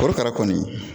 Korokara kɔni